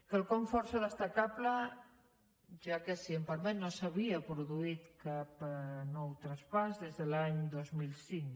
quelcom força destacable ja que si em permet no s’havia produït cap nou traspàs des de l’any dos mil cinc